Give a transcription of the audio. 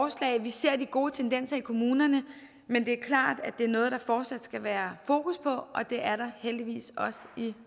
vi ser de gode tendenser i kommunerne men det er klart at det er noget der fortsat skal være fokus på og det er der heldigvis også i